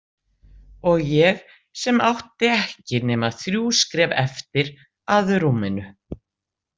Og ég sem átti ekki nema þrjú skref eftir að rúminu.